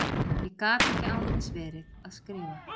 Ég gat ekki án þess verið að skrifa.